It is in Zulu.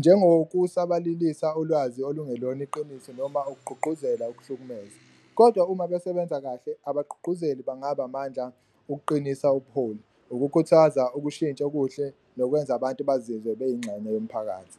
njengokusabalalisa ulwazi olungelona iqiniso noma ukugqugquzela ukuhlukumeza. Kodwa uma besebenza kahle, abaqhuqhuzeli bangaba amandla ukuqinisa ubuholi, ukukhuthaza ukushintsha okuhle nokwenza abantu bazizwe beyingxenye yomphakathi.